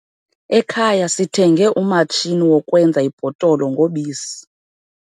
Ekhaya sithenge umatshini wokwenza ibhotolo ngobisi.